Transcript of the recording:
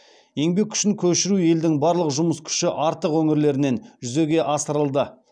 еңбек күшін көшіру елдің барлық жұмыс күші артық өңірлерінен жүзеге асырылды